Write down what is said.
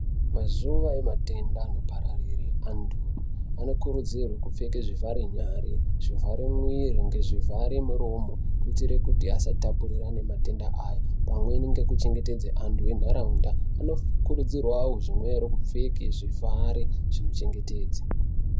Mazuwa ematenda anopararire antu anokurudzirwe kupfeke zvivhare nyara ,zvivhare mwiri ngezvivhare muromo kuitire kuti asatapurirane matenda aya pamwe nekuchengetedze anhu enharaunda anokuridzirwewo kupfeke zvinochengetedze.